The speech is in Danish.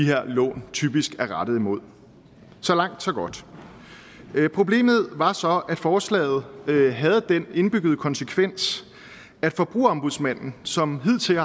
her lån typisk er rettet imod så langt så godt problemet var så at forslaget havde den indbyggede konsekvens at forbrugerombudsmanden som hidtil